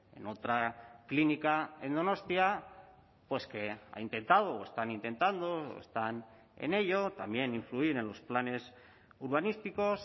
en otra clínica en donostia pues que ha intentado o están intentando están en ello también influir en los planes urbanísticos